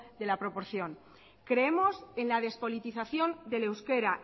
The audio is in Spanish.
de la proporción creemos en la despolitización del euskera